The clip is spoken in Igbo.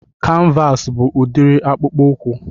Kanvas bụ udiri akpụkpọ ụkwụ